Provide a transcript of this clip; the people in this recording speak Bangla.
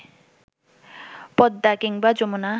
পদ্মা কিংবা যমুনা